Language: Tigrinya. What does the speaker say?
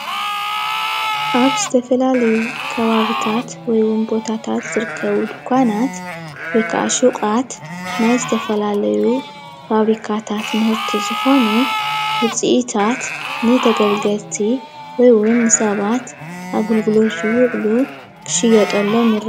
አብዚ ምስሊ ናይ ሸቀጣት ዝርከብሎም ድንዃን እዮም።